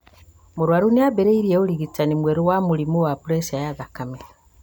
Mũrwaru nĩambĩrĩirie ũrigitani mwerũ wa mũrimũ wa preca ya thakame